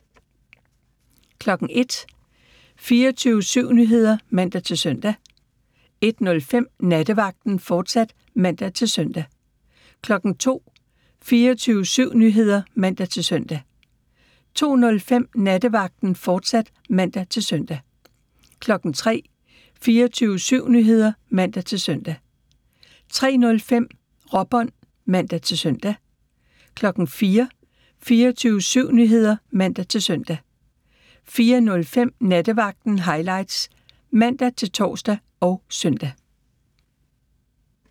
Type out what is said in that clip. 01:00: 24syv Nyheder (man-søn) 01:05: Nattevagten, fortsat (man-søn) 02:00: 24syv Nyheder (man-søn) 02:05: Nattevagten, fortsat (man-søn) 03:00: 24syv Nyheder (man-søn) 03:05: Råbånd (man-søn) 04:00: 24syv Nyheder (man-søn) 04:05: Nattevagten Highlights (man-tor og søn)